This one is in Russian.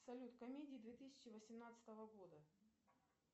салют комедии две тысячи восемнадцатого года